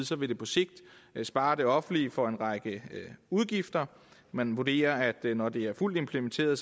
så vil det på sigt spare det offentlige for en række udgifter man vurderer at det når det er fuldt implementeret